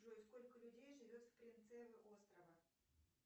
джой сколько людей живет в принцева острова